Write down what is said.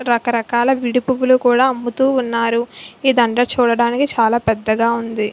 రక రకాల విడి పువ్వులు కూడా అమ్ముతు ఉన్నారు. ఈ దండ చూడానికి చాలా పెద్దగా ఉంది.